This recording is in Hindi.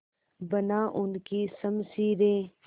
बना उनकी शमशीरें